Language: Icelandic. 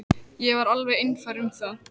Ég var alveg einfær um það.